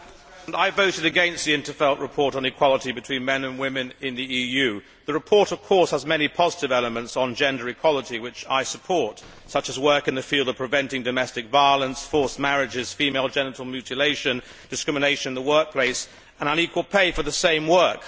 Madam President, I voted against the in 't Veld report on equality between men and women in the EU. The report of course has many positive elements on gender equality which I support, such as work in the field of preventing domestic violence, forced marriages, female genital mutilation, discrimination in the workplace and unequal pay for the same work.